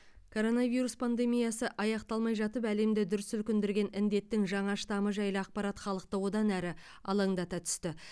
коронавирус пандемиясы аяқталмай жатып әлемді дүр сілкіндірген індеттің жаңа штамы жайлы ақпарат халықты одан әрі алаңдата түсті